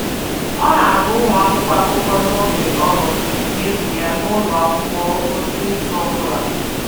Ọ na-agụ̀ ụmụaka akụkọ n’oge ọrụ n’efu ya n’ụlọ akwụkwọ n’izu ọ bụla.